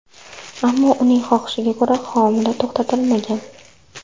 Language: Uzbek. Ammo uning xohishiga ko‘ra, homila to‘xtatilmagan.